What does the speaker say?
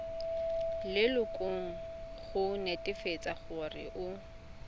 lelokong go netefatsa gore o